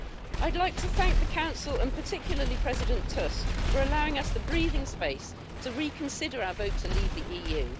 I'd like to thank the Council, and particularly President Tusk, for allowing us the breathing space to reconsider our vote to leave the EU.